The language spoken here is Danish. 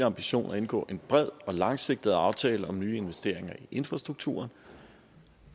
ambition at indgå en bred og langsigtet aftale om nye investeringer i infrastrukturen